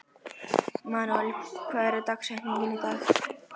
Manuel, hver er dagsetningin í dag?